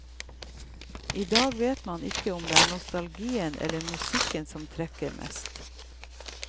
I dag vet man ikke om det er nostalgien eller musikken som trekker mest.